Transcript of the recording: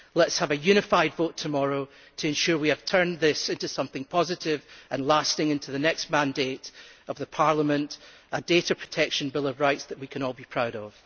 Let us have a unified vote tomorrow to ensure we have turned this into something positive and lasting into the next mandate of this Parliament, a data protection bill of rights that we can all be proud of.